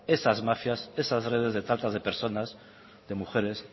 esas mafias esas redes de tratas de personas de mujeres